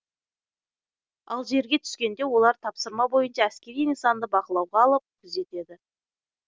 ал жерге түскенде олар тапсырма бойынша әскери нысанды бақылауға алып күзетеді